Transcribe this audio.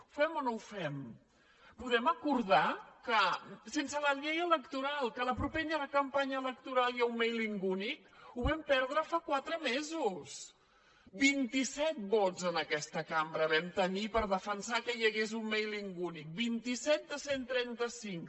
ho fem o no ho fem podem acordar que sense la llei electoral a la propera campanya electoral hi haurà un mailingvam perdre fa quatre mesos vint i set vots en aquesta cambra vam tenir per defensar que hi hagués un mailing únic vint set de cent i trenta cinc